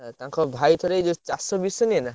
ଏ ତାଙ୍କ ଭାଇ ଥରେ ଏଇ ଚାଷ ବିଷ ନୁହେନା?